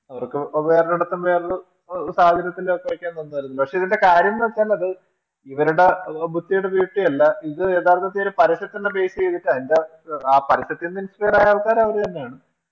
അവർക്കു വേറെ ഒരിടത്തും വേറൊരു സാഹചര്യത്തിലൊക്കെ അയക്കാൻ തന്നായിരുന്നു. പക്ഷെ ഇതിന്റെ കാര്യമെന്നുവച്ചാല് അത് ഇവരുടെ ബുദ്ധിടെ വീഴ്ചയല്ല ഇത് യഥാർത്ഥത്തിൽ ഒരു പരസ്യത്തിന്റെ Base ചെയ്തുതട്ടു അതിന്റെ ആ പരസ്യത്തിന് Inspire ആയ ആൾക്കാര് അവര് തന്നെയാണ്